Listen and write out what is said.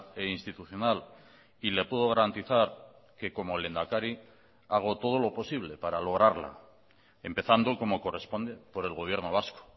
e institucional y le puedo garantizar que como lehendakari hago todo lo posible para lograrla empezando como corresponde por el gobierno vasco